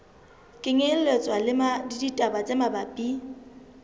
kenyelletswa le ditaba tse mabapi